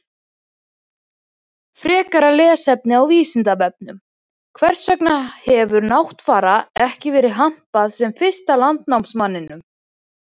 Frekara lesefni á Vísindavefnum: Hvers vegna hefur Náttfara ekki verið hampað sem fyrsta landnámsmanninum?